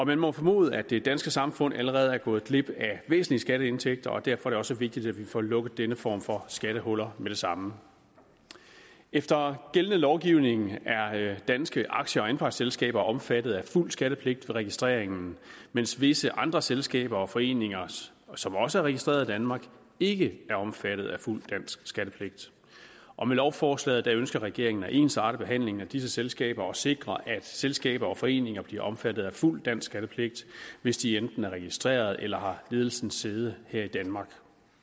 man må jo formode at det danske samfund allerede er gået glip af væsentlige skatteindtægter og derfor er det også vigtigt at vi får lukket denne form for skattehuller med det samme efter gældende lovgivning er danske aktie og anpartsselskaber omfattet af fuld skattepligt ved registreringen mens visse andre selskaber og foreninger som også er registreret i danmark ikke er omfattet af fuld dansk skattepligt og med lovforslaget ønsker regeringen at ensarte behandlingen af disse selskaber og sikre at selskaber og foreninger bliver omfattet af fuld dansk skattepligt hvis de enten er registreret eller ledelsen har sæde her i danmark